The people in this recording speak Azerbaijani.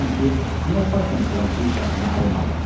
Soruşursan ki, niyə faytonçudan bir şahını almadın?